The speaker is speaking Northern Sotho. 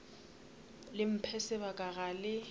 le mphe sebaka ga le